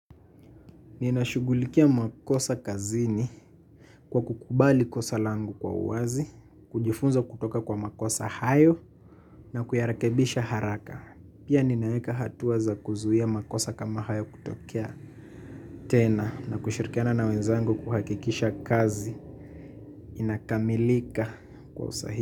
Ninashughulikia makosa kazini kwa kukubali kosa langu kwa uwazi, kujifunza kutoka kwa makosa hayo na kuyarekebisha haraka. Pia ninaweka hatua za kuzuia makosa kama hayo kutokea tena na kushirikiana na wenzangu kuhakikisha kazi inakamilika kwa usahihi.